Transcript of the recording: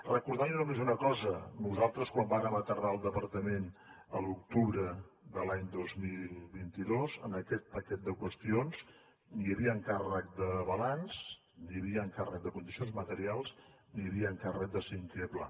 recordar li només una cosa nosaltres quan vàrem aterrar al departament a l’octubre de l’any dos mil vint dos en aquest paquet de qüestions ni hi havia encàrrec de balanç ni hi havia encàrrec de condicions materials ni hi havia encàrrec de cinquè pla